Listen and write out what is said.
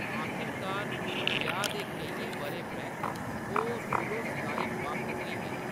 आखिरकार, ब्याह्‌‌ दे केइयें बʼरें परैंत्त, ओह्‌‌ सुलहो-सलाही बक्ख होई गे।